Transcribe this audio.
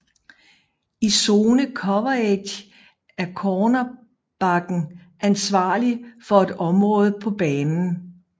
I zone coverage er cornerbacken ansvarlig for et område på banen